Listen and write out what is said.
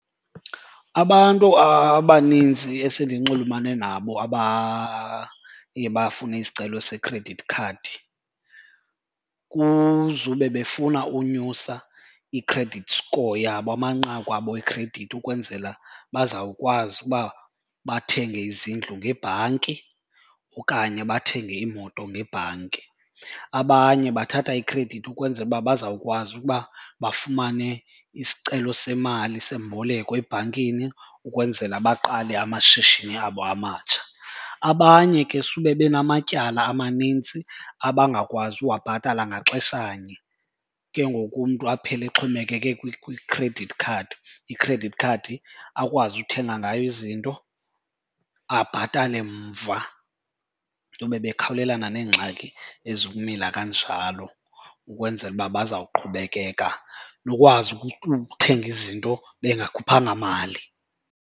Abantu abaninzi esendinxulumane nabo abaye bafune isicelo sekhredithi khadi kuzube befuna unyusa i-credit score yabo, amanqaku abo ekhredithi, ukwenzela bazawukwazi uba bathenge izindlu ngebhanki okanye bathenge iimoto ngebhanki. Abanye bathatha ikhredithi ukwenzela uba bazawukwazi ukuba bafumane isicelo semali semboleko ebhankini ukwenzela baqale amashishini abo amatsha. Abanye ke sube benamatyala amanintsi abangakwazi uwabhatala ngaxeshanye, ke ngoku umntu aphele exhomekeke kwikhredithi khadi, ikhredithi khadi akwazi uthenga ngayo izinto, abhatale mva bekhawulelana neengxaki ezikumila kanjalo ukwenzela uba bazawuqhubekeka. Nokwazi ukuthenga izinto bengakhuphanga mali.